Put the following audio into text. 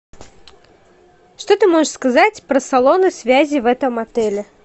что ты можешь сказать про салоны связи в этом отеле